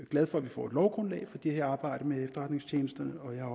glad for at vi får et lovgrundlag for det arbejde med efterretningstjenesterne og jeg er